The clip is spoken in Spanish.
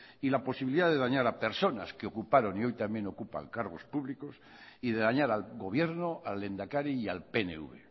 y la posibilidad de dañar a personas que ocuparon y hoy también ocupan cargos públicos y de dañar al gobierno al lehendakari y al pnv